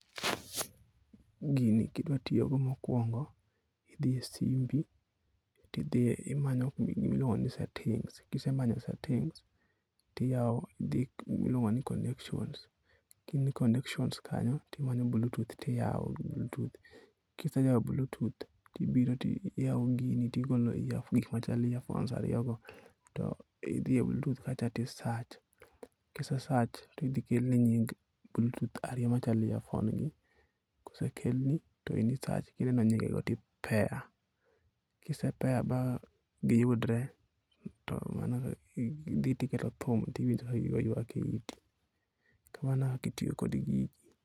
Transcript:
Gini kidwa tiyogo mokwongo, idhi e simbi ti idhie, imanyo kuma iluongo ni settings. Kisemanyo settings, tiyao idhi e gima iluongo ni connections. Ka in e connections kanyo, timanyo bluetooth tiyao .Kiseyaio bluetooth, to ibiro tiyao gini tigolo gik machal earphones ariyogo to idhi e bluetooth kacha to isearch ka ise search to idhi kelni nying bluetooth ariyo machalo earphone gi. Kosekelni to in isearch kiseneno nyingego to i pair. Kise pair ma giyudre to mano idhi tiketo thum tiwinjo ka giywak e iti .Kamano e kaka itiyo kod gigi.